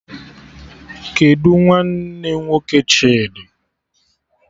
Kedụ nwanne nwoke Chidi?